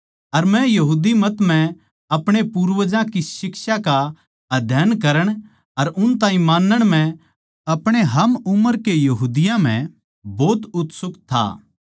अर मै यहूदी मत म्ह अपणे पूर्वजां की शिक्षा का अध्यन करण अर उन ताहीं मानण म्ह आपणे हम उम्र के यहूदियाँ म्ह भोत उत्सुक था